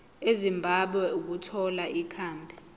ezimbabwe ukuthola ikhambi